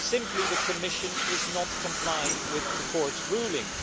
Simply, the Commission is not complying with the Court's ruling.